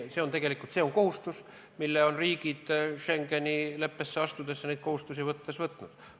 See on kohustus, mille riigid on Schengeni leppele alla kirjutades võtnud.